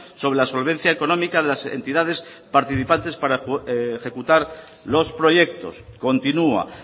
sobre la solvencia económica de las entidades participantes para ejecutar los proyectos continúa